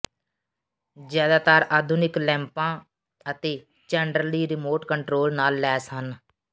ਜ਼ਿਆਦਾਤਰ ਆਧੁਨਿਕ ਲੈਂਪਾਂ ਅਤੇ ਚੈਂਡਰਲੀ ਰਿਮੋਟ ਕੰਟਰੋਲ ਨਾਲ ਲੈਸ ਹਨ